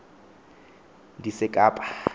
ndisekapa